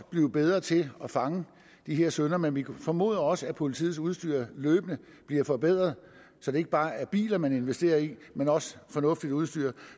blive bedre til at fange de her syndere men vi formoder også at politiets udstyr løbende bliver forbedret så det ikke bare er biler man investerer i men også fornuftigt udstyr